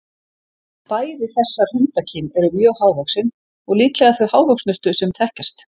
Bæði þessar hundakyn eru mjög hávaxin og líklega þau hávöxnustu sem þekkjast.